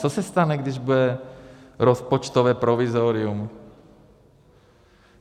Co se stane, když bude rozpočtové provizorium?